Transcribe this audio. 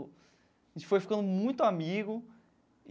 A gente foi ficando muito amigo.